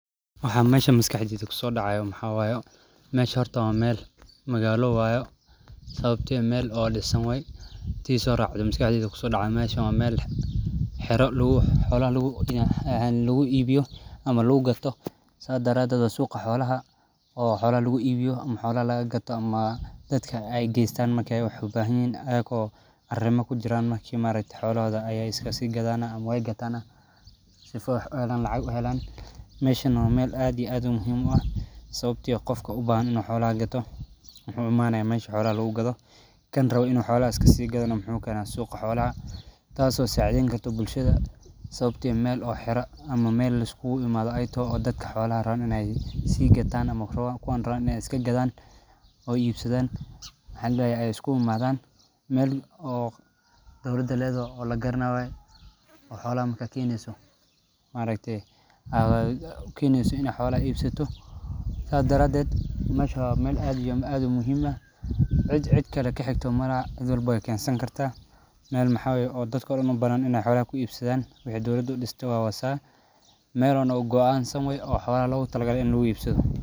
Waxan meshan maskaxdeyda kusodacayo maxa wayo mesha horta waa meel magalo wayo sababto Meel oo disan waye tii soracdo maskaxdeyda kusodacdo meeshan waa meel xiro xolaha laguibiyo ama lagugato saa daradeed waa suqa xolaha oo xolaha laguibiyo ama xolaha lagagato ama dadka eey gestan marke wax ubahanyihin ayako arimo kujiran marki ma aragte xolohoda ayey iskasiigadan ama weey gatan sifo wax uhelan lacag uhelan meshan neh waa meel aad iyo aad umuhim uu ah sababtiyo qofki ubahan inuu xolaha gato wuxu imanaya meeshi xolaha lagugado kaan rawo inu xolaha iskasigado neh muxu keena suqa xolaha taaso saciden karto bulshada sababtiyo meel oo xiro ama meel laiskugu imaado eey taho oo dadka xolaha rawaan iney sii gatan ama kuwan rawan iney iska gaadan oo iibsadan maxa ladahaye ey iskugu imaadan meel oo dowlada ledoho oo lagaranayo waye oo xoloha marka keneso ma aragte oo aad ukeneso iney xolaha iibsato saa daradeed meesha waa meel aad iyo aad umuhim ah cidh cidhkale kaxigto malaha cidh walbo wey kesan karta meel maxa waye oo dadka dhaan ubanan iney xolaha kuibsadan wexey dawlada udiste waa wa saa meel oo noo goo aan san waye oo xolaha logutalage inu laguibsado.